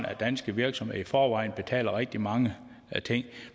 at danske virksomheder i forvejen betaler rigtig mange ting